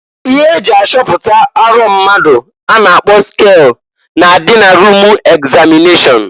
Ihe eji achọpụta arọ mmadụ a na-akpọ skel na-adị na rum egzamịneshọn.